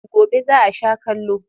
Gobe za a sha kallo.